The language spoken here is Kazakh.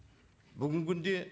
бүгінгі күнде